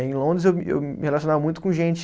Em Londres eu me, eu me relacionava muito com gente